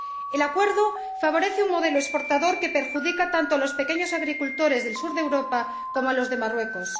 El acuerdo favorece un modelo exportador que perjudica tanto a los pequeños agricultores del sur de Europa como a los de Marruecos.